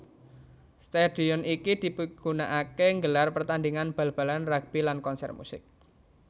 Stadion iki dipigunakaké nggelar pertandingan bal balan rugbi lan konsèr musik